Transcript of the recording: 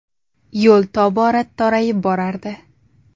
Yo‘l tobora torayib borardi.